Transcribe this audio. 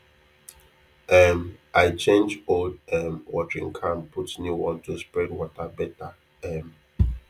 um i change old um watering can put new one to spread water better um